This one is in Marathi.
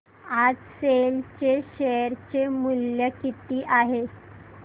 आज सेल चे शेअर चे मूल्य किती आहे